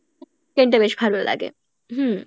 টা বেশ ভালো লাগে হম